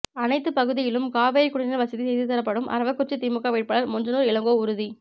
அனைத்து பகுதியிலும் காவிரி குடிநீர் வசதி செய்து தரப்படும் அரவக்குறிச்சி திமுக வேட்பாளர் மொஞ்சனூர் இளங்கோ உறுதி